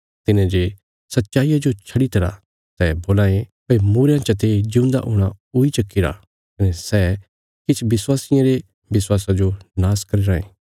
तिन्हेंजे सच्चाईया जो छड्डीतरा सै बोलां ये भई मूईरयां चते जिऊंदा हूणा हुई चुक्कीरा कने सै किछ विश्वासियां रे विश्वासा जो नाश करी राँये